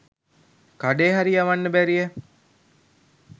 කඩේ හරි යවන්න බැරිය